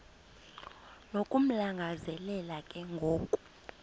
nokumlangazelela ke ngoku